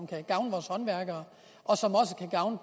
kan gavne vores håndværkere og som også kan gavne